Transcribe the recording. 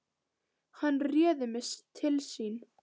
Hann réði mig til sín.